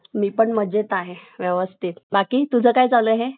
माझंपण थोडं काम आहे तिथं एक अं जागा खरेदी करायची आहे आपल्याला एक